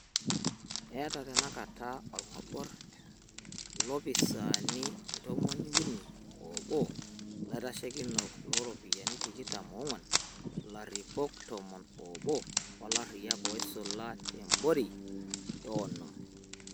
Eeta tenakata olgobor ilopisaani ntomon uni oobo, ilaitashekinok lo ropiyiani tikitam onguan, ilaripok tomon oobo o lariak oisula te borei onom.